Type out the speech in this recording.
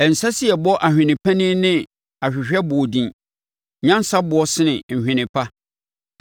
Ɛnsɛ sɛ yɛbɔ ahwene panin ne ahwehwɛboɔ din; nyansa boɔ sene nhwene pa.